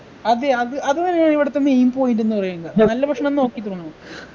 അതെ അത് അത് തന്നെയാണ് ഇവിടത്തെ main point എന്ന് പറയുന്നത് നല്ല ഭക്ഷണം നോക്കിത്തുടങ്ങണം